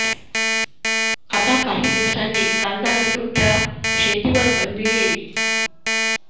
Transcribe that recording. आता काही दिवसानी कांदा लसूण च्या शेतीवर बंदी येइल